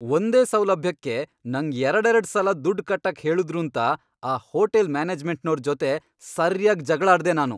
ಒಂದೇ ಸೌಲಭ್ಯಕ್ಕೆ ನಂಗ್ ಎರಡೆರಡ್ ಸಲ ದುಡ್ಡ್ ಕಟ್ಟಕ್ ಹೇಳುದ್ರೂಂತ ಆ ಹೋಟೆಲ್ ಮ್ಯಾನೇಜ್ಮೆಂಟ್ನೋರ್ ಜೊತೆ ಸರ್ಯಾಗ್ ಜಗ್ಳಾಡ್ದೆ ನಾನು.